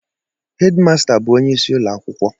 Hed masta bụ onyeisi ụlọ akwụkwọ